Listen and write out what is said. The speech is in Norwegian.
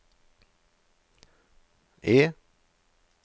E